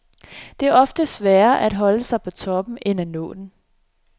Det er ofte sværere at holde sig på toppen end at nå den.